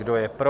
Kdo je pro?